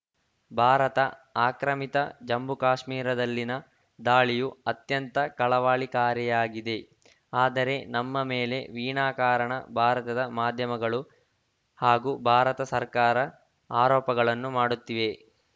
ಭಾರತ ಆಕ್ರಮಿತ ಜಮ್ಮುಕಾಶ್ಮೀರದಲ್ಲಿನ ದಾಳಿಯು ಅತ್ಯಂತ ಕಳವಾಳಿಕಾರಿಯಾಗಿದೆ ಆದರೆ ನಮ್ಮ ಮೇಲೆ ವೀನಾಕಾರಣ ಭಾರತದ ಮಾಧ್ಯಮಗಳು ಹಾಗೂ ಭಾರತ ಸರ್ಕಾರ ಆರೋಪಗಳನ್ನು ಮಾಡುತ್ತಿವೆ